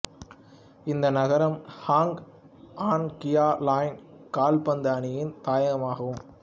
இந்த நகரம் Hoang Anh Gia Lai கால்பந்து அணியின் தாயகமாகும்